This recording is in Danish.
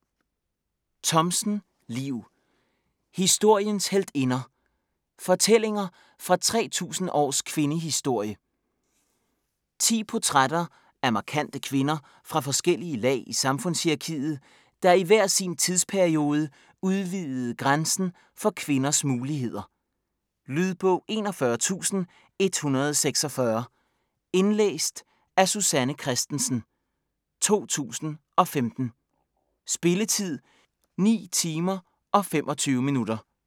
Thomsen, Liv: Historiens heltinder: fortællinger fra 3000 års kvindehistorie 10 portrætter af markante kvinder fra forskellige lag i samfundshierarkiet, der i hver sin tidsperiode udvidede grænsen for kvinders muligheder. Lydbog 41146 Indlæst af Susanne Kristensen, 2015. Spilletid: 9 timer, 25 minutter.